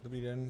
Dobrý den.